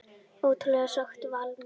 Ótrúlegt sagði Valdimar.